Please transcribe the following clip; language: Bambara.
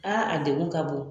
a degun ka bon.